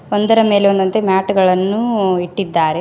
ಒಂದರ ಮೇಲೆ ಒಂದು ಅಂತೆ ಮ್ಯಾಟ್ ಗಳನ್ನು ಇಟ್ಟಿದ್ದಾರೆ.